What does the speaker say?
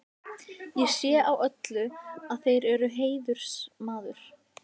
Ég sé á öllu, að þér eruð heiðursmaður.